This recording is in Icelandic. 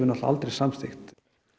aldrei samþykkt